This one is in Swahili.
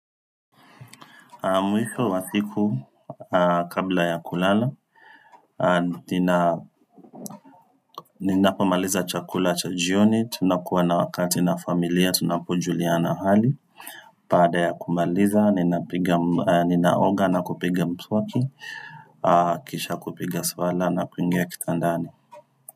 Mwisho wasiku kabla ya kulala Ninapomaliza chakula cha jioni tunakuwa na wakati na familia Tunapojuliana hali baada ya kumaliza Ninaoga na kupiga mswaki Kisha kupiga swala na kuingia kitandani.